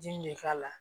Ji min bɛ k'a la